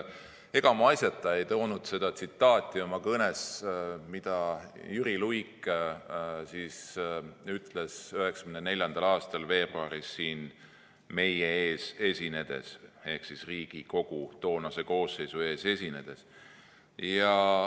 Ega ma asjata ei toonud oma kõnes seda tsitaati, mida Jüri Luik ütles 1994. aastal veebruaris siin meie ehk Riigikogu toonase koosseisu ees esinedes.